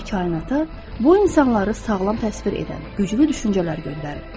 Və kainata bu insanları sağlam təsvir edən güclü düşüncələr göndərin.